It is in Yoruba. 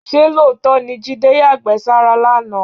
Ṣé lóòótọ́ ni Jídé yàgbẹ́ sára lánàá?